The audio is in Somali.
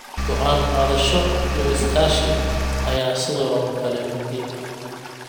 Go'aan-qaadasho iyo iskaashi ayaa sidoo kale muhiim ah.